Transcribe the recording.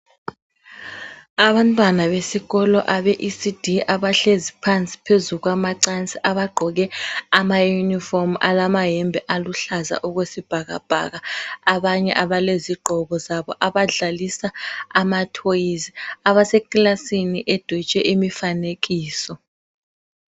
Abantwana besikolo abe ECD abahlezi phansi phezu kwamacansi abagqoke ama unifrom alamayembe aluhlaza okwesibhakabhaka, abanye abalezigqoko zabo abadlalisa ama toys, abasekilasini edwetshwe imifanekiso